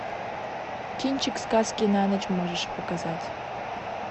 кинчик сказки на ночь можешь показать